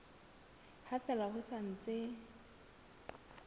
ha fela ho sa ntse